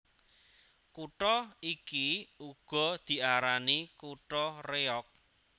Kutha iki uga diarani kutha Réyog